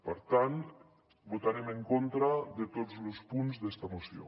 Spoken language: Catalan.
per tant votarem en contra de tots los punts d’esta moció